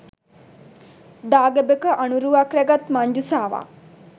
දාගැබක අනුරුවක් රැගත් මංජුසාවක්